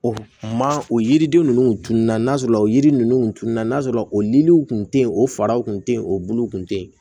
O ma o yiriden ninnu tununna n'a sɔrɔ o yiri ninnu tununna n'a sɔrɔ o niliw kun te yen o faraw kun te yen o bulu kun te yen